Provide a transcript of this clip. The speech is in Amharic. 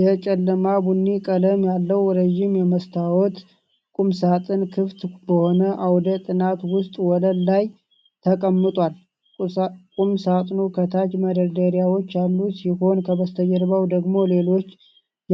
የጨለማ ቡኒ ቀለም ያለው ረዥም የመስተዋት ቁምሳጥን ክፍት በሆነ አውደ ጥናት ውስጥ ወለል ላይ ተቀምጧል፤ ቁምሳጥኑ ከታች መደርደሪያዎች ያሉት ሲሆን፣ ከበስተጀርባው ደግሞ ሌሎች